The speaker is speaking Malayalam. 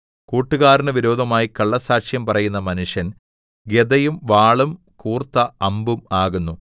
കൂട്ടുകാരന് വിരോധമായി കള്ളസ്സാക്ഷ്യം പറയുന്ന മനുഷ്യൻ ഗദയും വാളും കൂർത്ത അമ്പും ആകുന്നു